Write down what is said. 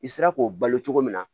I sera k'o balo cogo min na